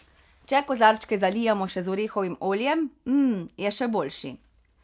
Če kozarčke zalijemo še z orehovim oljem, mmm, je še boljši.